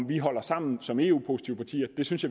vi holder sammen som eu positive partier det synes